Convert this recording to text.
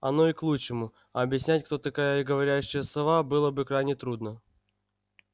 оно и к лучшему объяснять кто такая говорящая сова было бы крайне трудно